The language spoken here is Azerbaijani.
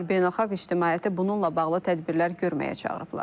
Onlar beynəlxalq ictimaiyyəti bununla bağlı tədbirlər görməyə çağırıblar.